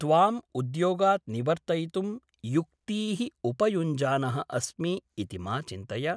त्वाम् उद्योगात् निवर्तयितुं युक्तीः उपयुञ्जानः अस्मि इति मा चिन्तय ।